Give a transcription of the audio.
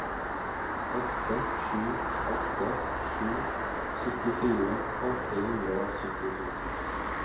åtte sju åtte sju syttifire åtte hundre og syttito